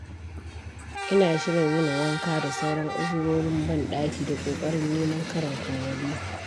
Ina shirin yin wanka da sauran uzurorin ban-ɗaki da ƙoƙarin neman karin kummalo.